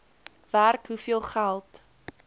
werk hoeveel geld